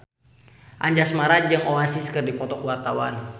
Anjasmara jeung Oasis keur dipoto ku wartawan